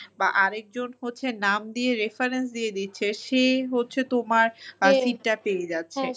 বা আরেকজন হচ্ছে নাম দিয়ে reference দিয়ে দিচ্ছে সে হচ্ছে তোমার seat টা পেয়ে যাচ্ছে